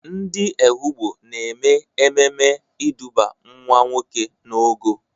Ndị Ehụgbọ na-eme ememe ịdụba nwa nwoke n'ogo.